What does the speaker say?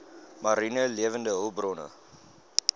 mariene lewende hulpbronne